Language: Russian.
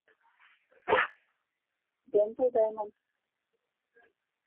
дентал даймонд